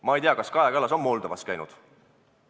Ma ei tea, kas Kaja Kallas on Moldovas käinud.